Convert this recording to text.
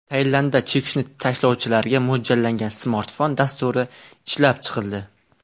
Tailandda chekishni tashlovchilarga mo‘ljallangan smartfon dasturi ishlab chiqildi.